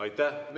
Aitäh!